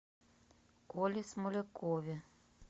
коле смолякове